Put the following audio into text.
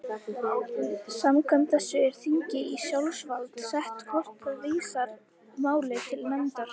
Samkvæmt þessu er þingi í sjálfsvald sett hvort það vísar máli til nefndar.